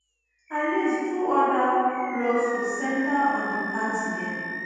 at least two oda lawsuits centre on di party dem